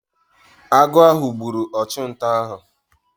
Agụ ahụ gburu ọchụnta ahụ.